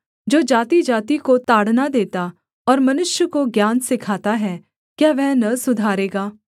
जो जातिजाति को ताड़ना देता और मनुष्य को ज्ञान सिखाता है क्या वह न सुधारेगा